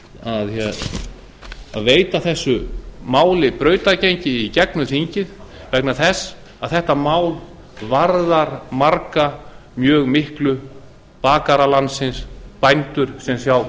að veita þessu máli brautargengi í gegnum þingið vegna þess að þetta mál varðar marga mjög miklu bakara landsins bændur sem sjá